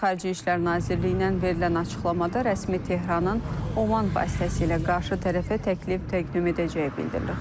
İranın Xarici İşlər Nazirliyindən verilən açıqlamada rəsmi Tehranın Oman vasitəsilə qarşı tərəfə təklif təqdim edəcəyi bildirilir.